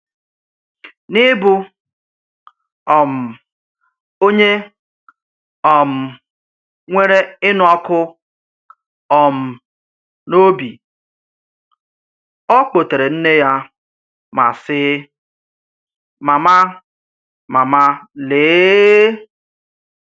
N’ịbụ um onye um nwere ịnụ́ ọkụ́ um n’òbì, ọ kpọ̀tèrè nnè ya ma sị, “Mámá, Mámá, lee!